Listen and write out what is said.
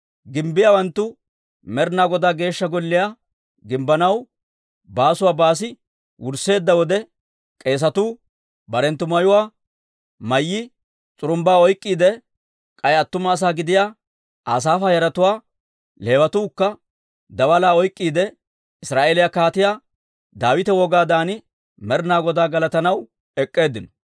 Gimbbiyaawanttuu Med'ina Godaa Geeshsha Golliyaa gimbbanaw baasuwaa baasi wursseedda wode, k'eesatuu barenttu mayuwaa mayyi s'urumbbaa oyk'k'iide, k'ay attuma asaa gidiyaa Asaafa yaratuwaa, Leewatuukka, daalaa oyk'k'iide, Israa'eeliyaa Kaatiyaa Daawita wogaadan Med'inaa Godaa galatanaw ek'k'eeddinno.